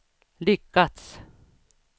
lyckats